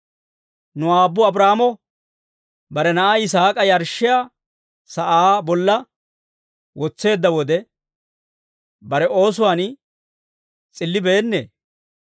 Nu aabbu Abraahaamo bare na'aa Yisaak'a yarshshiyaa sa'aa bolla wotseedda wode, bare oosuwaan s'illibeennee?